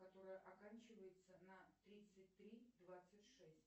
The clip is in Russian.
которая оканчивается на тридцать три двадцать шесть